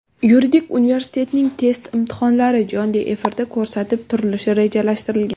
Yuridik universitetining test imtihonlari jonli efirda ko‘rsatib turilishi rejalashtirilgan.